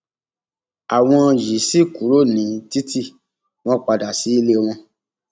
àwọn yìí sì kúrò ní títì wọn padà sí ilé wọn